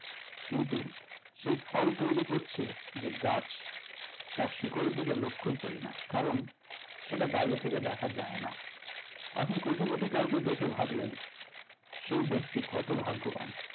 কিন্তু সেই ফল তৈরী করছে যে গাছ তার শিকড়ের দিকে লক্ষ্যই করি না কারণ সেটা বাইরে থেকে দেখা যায়না আপনি কোটিপতি কাউকে দেখে ভাবলেন সেই ব্যাক্তি কত ভাগ্যবান